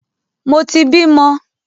Mo ti bímọ!